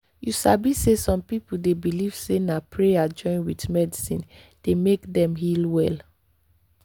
you sabi say some people dey believe say na prayer join with medicine dey make dem heal well.